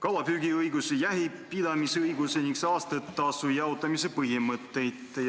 kalapüügiõigust, jahipidamisõigust ning saastetasu jaotamise põhimõtteid.